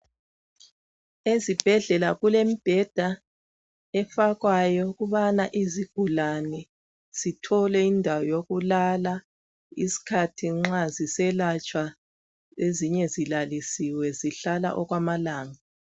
Ezibhedlela kulemibheda efakwayo ukubana izigulane zithole indawo yokulala isikhathi nxa ziselatshwa ezinye zilalisiwe zihlala okwamalanga.